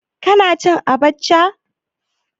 Kana cin abacha?